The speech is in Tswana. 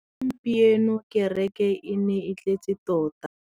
Gompieno kêrêkê e ne e tletse tota.